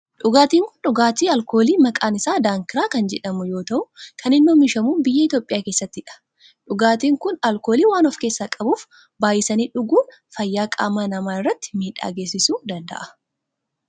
Dhugaatin kun dhugaatii alkoolii maqaan isaa daankiraa kan jedhamu yoo ta'u kan inni oomishamu biyya Itiyoophiyaa keessattidha. Dhugaatin kun alkoolii waan of keessaa qabuf baayisanii dhuguun fayyaa qaama namaa irratti miidhaa geessisuu danda'a.